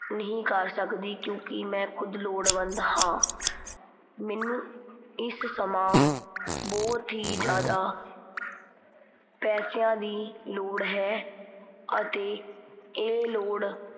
ਨਹੀਂ ਕਰ ਸਕਦੀ ਕਿਉਂ ਕੀ ਮੈਂ ਖੁਦ ਲੋੜਵੰਦ ਹਾਂ। ਮੈਨੂੰ ਇਸ ਸਮਾਂ ਬਹੁਤ ਹੀ ਜ਼ਿਆਦਾ ਪੈਸਿਆਂ ਦੀ ਲੋੜ ਹੈ ਅਤੇ ਇਹ ਲੋੜ